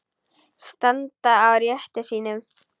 Standa á rétti sínum?